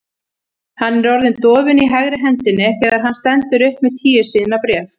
Hann er orðinn dofinn í hægri hendinni þegar hann stendur upp með tíu síðna bréf.